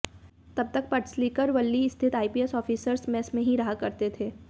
तब तक पडसलगीकर वर्ली स्थित आईपीएस ऑफिसर्स मेस में ही रहा करते थे